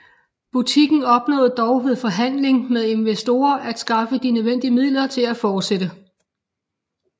Butikken opnåede dog ved forhandling med investorer at skaffe de nødvendige midler til at fortsætte